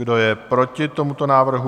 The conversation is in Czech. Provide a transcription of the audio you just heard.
Kdo je proti tomuto návrhu?